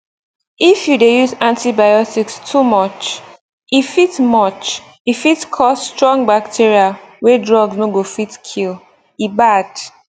if you dey use antibiotics too much e fit much e fit cause strong bacteria wey drugs no go fit kill e bad